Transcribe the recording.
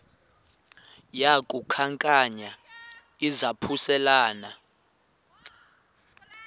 yaku khankanya izaphuselana